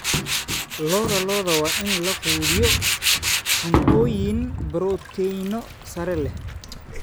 Lo'da lo'da waa in la quudiyo cuntooyin borotiinno sare leh.